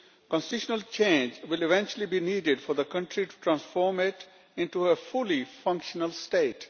Constitutional change will eventually be needed for the country to transform it into a fully functional state.